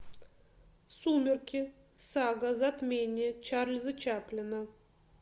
сумерки сага затмение чарльза чаплина